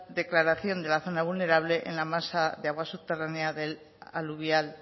declaración de la zona vulnerable en la masa de agua subterránea del aluvial